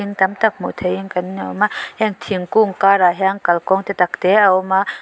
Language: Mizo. tam tak hmuh theihin kan a awm a heng thingkung karah hian kalkawng te tak te a awm a.